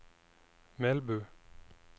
Melbu